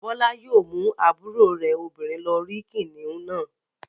Bọ́lá yóò mú àbúrò rẹ̀ obìnrin lọ rí kìnnìún náà.